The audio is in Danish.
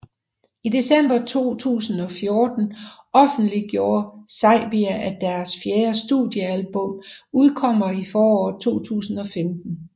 I december 2014 offentliggjorde Saybia at deres fjerde studiealbum udkommer i foråret 2015